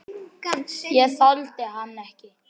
Ég þoldi hann ekki.